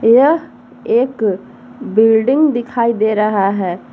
यह एक बिल्डिंग दिखाई दे रहा है।